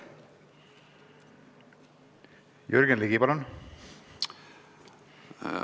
Jürgen Ligi, palun!